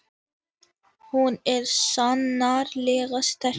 Hún er sannarlega sterk.